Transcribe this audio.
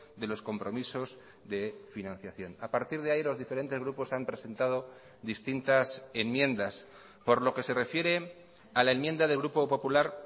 de los compromisos de financiación a partir de ahí los diferentes grupos han presentado distintas enmiendas por lo que se refiere a la enmienda del grupo popular